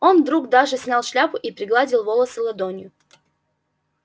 он вдруг даже снял шляпу и пригладил волосы ладонью